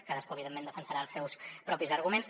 cadascú evidentment defensarà els seus propis arguments